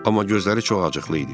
Amma gözləri çox acıqlı idi.